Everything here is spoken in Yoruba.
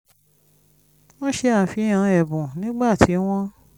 wọ́n ṣe àfihàn ẹ̀bùn nígbà tí wọ́n ń